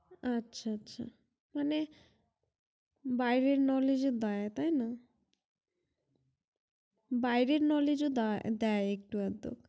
আচ্ছা আচ্ছা মানে বাইরের knowledge ও দেয় তাই না বাইরের knowledge ও দেয় একটু আগটু